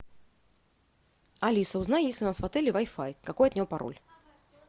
алиса узнай есть ли у нас в отеле вай фай какой от него пароль